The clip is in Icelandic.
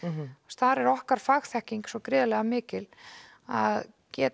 þar er okkar fagþekking svo gríðarlega mikil að geta